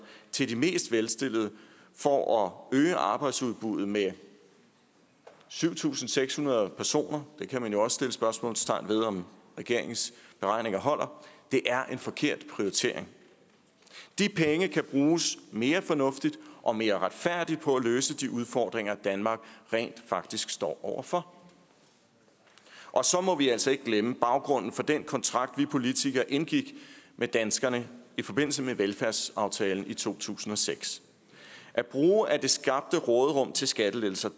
til de mest velstillede for at øge arbejdsudbuddet med syv tusind seks hundrede personer man kan jo også sætte spørgsmålstegn ved om regeringens beregninger holder er en forkert prioritering de penge kan bruges mere fornuftigt og mere retfærdigt på at løse de udfordringer danmark rent faktisk står over for og så må vi altså ikke glemme baggrunden for den kontrakt som vi politikere indgik med danskerne i forbindelse med velfærdsaftalen i to tusind og seks at bruge af det skabte råderum til skattelettelser